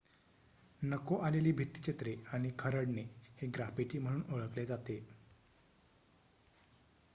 नको आलेली भित्तिचित्रे आणि खरडणे हे ग्राफिटी म्हणून ओळखले जाते